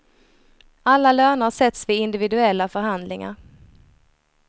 Alla löner sätts vid individuella förhandlingar.